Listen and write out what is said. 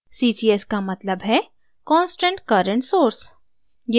ccs का मतलब है constant current source